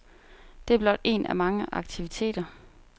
Det er blot en af mange aktiviteter.